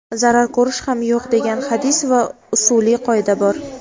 zarar ko‘rish ham yo‘q degan hadis va usuliy qoida bor.